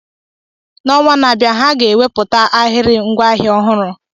N'ọnwa na-abịa, ha ga-ewepụta ahịrị ngwaahịa ọhụrụ.